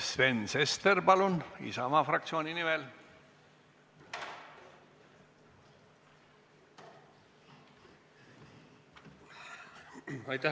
Sven Sester Isamaa fraktsiooni nimel, palun!